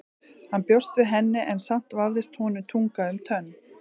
Hann bjóst við henni en samt vafðist honum tunga um tönn.